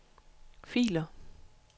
filer